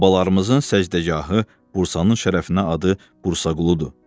Babalarımızın səcdəgahı Bursalının şərəfinə adı Bursaquludur.